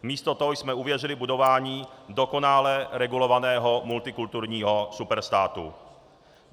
Místo toho jsme uvěřili budování dokonale regulovaného multikulturního superstátu.